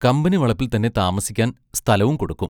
Company വളപ്പിൽത്തന്നെ താമസിക്കാൻ സ്ഥലവും കൊടുക്കും.